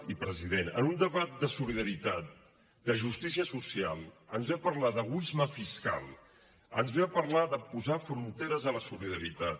i president en un debat de solidaritat de justícia social ens ve a parlar d’egoisme fiscal ens ve a parlar de posar fronteres a la solidaritat